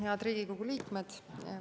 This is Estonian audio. Head Riigikogu liikmed!